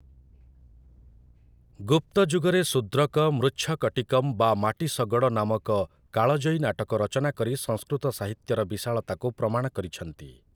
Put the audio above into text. ଗୁପ୍ତଯୁଗରେ ଶୂଦ୍ରକ ମୃଚ୍ଛକଟିକମ୍ ବା ମାଟି ଶଗଡ଼ ନାମକ କାଳଜୟୀ ନାଟକ ରଚନା କରି ସଂସ୍କୃତ ସାହିତ୍ୟର ବିଶାଳତାକୁ ପ୍ରମାଣ କରିଛନ୍ତି ।